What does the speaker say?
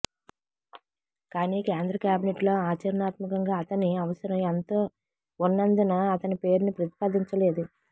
కానీ కేంద్ర కేబినెట్లో ఆచరణాత్మకంగా అతని అవసరం ఎంతో ఉన్నందున అతని పేరును ప్రతిపాదించలేదు